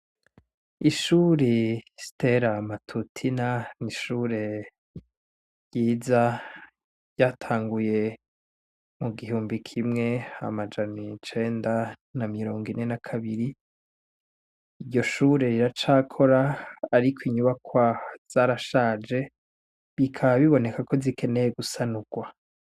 Ishure Stella Matutina nishure ryiza ryatanguye mu gihumbi kimwe amajana icenda na mirongo ine na kabiri iryo shure riracakora ariko inyubakwa zarashaje bikaba biboneka ko zikenewe gusanurwa.